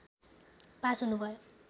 pass हुनुभयो